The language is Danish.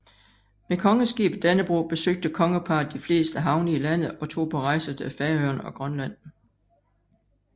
Med kongeskibet Dannebrog besøgte kongeparret de fleste havne i landet og tog på rejser til Færøerne og Grønland